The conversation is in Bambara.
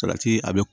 Salati a bi